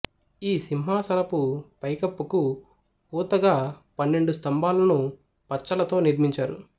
ఈ సింహాసనపు పైకప్పుకు ఊతగా పన్నెండు స్తంభాలను పచ్చలతో నిర్మించారు